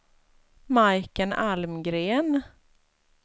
Majken Almgren